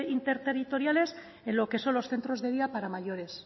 interterritoriales en lo que son los centros de día para mayores